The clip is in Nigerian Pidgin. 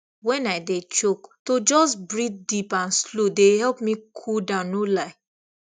when i dey choke to just breathe deep and slow dey help me cool down no lie